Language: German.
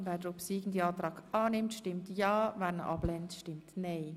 Wer ihn annimmt, stimmt ja, wer ihn ablehnt, stimmt nein.